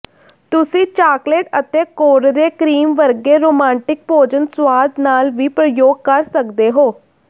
ਤੁਸੀਂ ਚਾਕਲੇਟ ਅਤੇ ਕੋਰੜੇ ਕ੍ਰੀਮ ਵਰਗੇ ਰੋਮਾਂਟਿਕ ਭੋਜਨ ਸੁਆਦ ਨਾਲ ਵੀ ਪ੍ਰਯੋਗ ਕਰ ਸਕਦੇ ਹੋ